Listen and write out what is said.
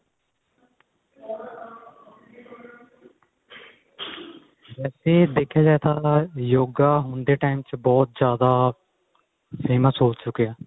ਵੈਸੇ ਦੇਖਿਆ ਜਾਏ ਤਾਂ yoga ਹੁਣ ਦੇ time ਚ ਬਹੁਤ ਜਿਆਦਾ famous ਹੋ ਚੁਕਿਆ